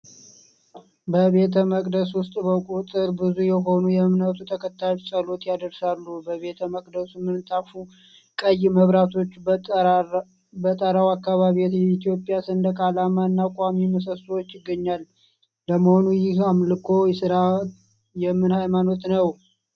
በቤተ መቅደስ ውስጥ በቁጥር ብዙ የሆኑ የእምነቱ ተከታዮች ጸሎት ያድርሣሉ፤ በቤተ መቅደሱ ምንጣፉ ቀይ ፣መብራቶች፣ በጠራው አካባቢ የኢትዮጵያ ሰንደቅ አላማ እና ቋሚ ምሠሦዎች ይገኛል። ለመሆኑ ይህ አምልኮ ሥፍራ የምን ሀይማኖት ነው?